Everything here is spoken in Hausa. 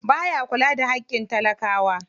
Baya kula da haƙƙin talakawa.